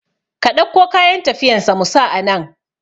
Ka ɗauko kayan tafiyan sa mu sa anan